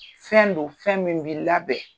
Fɛn don fɛn min bi labɛn